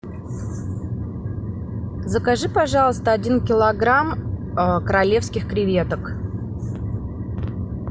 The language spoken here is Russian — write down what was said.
закажи пожалуйста один килограмм королевских креветок